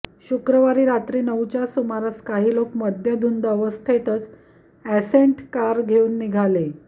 शुक्रवारी रात्री नऊच्या सुमारास काही लोक मद्यधुंद अवस्थेतच एसंट कार घेऊन निघाले